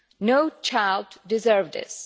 No child deserves this.